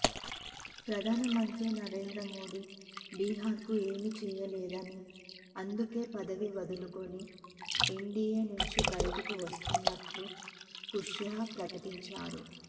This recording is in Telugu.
ప్రధానమంత్రి నరేంద్రమోడీ బీహార్ కు ఏమీ చేయలేదని అందుకే పదవికి వదులుకుని ఎన్డీఏ నుంచి బయటకు వస్తున్నట్లు కుష్వాహా ప్రకటించారు